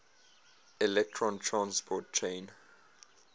electron transport chain